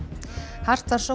hart var sótt